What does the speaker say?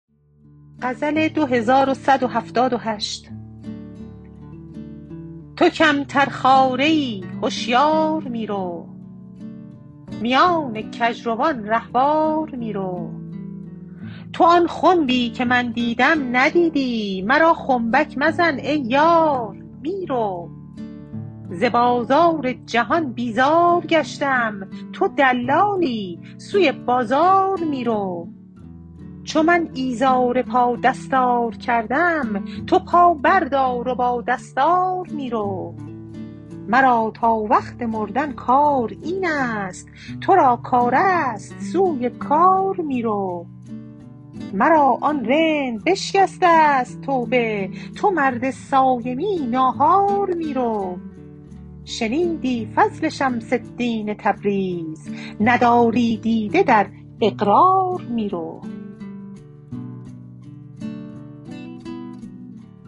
تو کمترخواره ای هشیار می رو میان کژروان رهوار می رو تو آن خنبی که من دیدم ندیدی مرا خنبک مزن ای یار می رو ز بازار جهان بیزار گشتم تو دلالی سوی بازار می رو چو من ایزار پا دستار کردم تو پا بردار و با دستار می رو مرا تا وقت مردن کار این است تو را کار است سوی کار می رو مرا آن رند بشکسته ست توبه تو مرد صایمی ناهار می رو شنیدی فضل شمس الدین تبریز نداری دیده در اقرار می رو